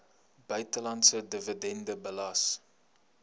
buitelandse dividend belas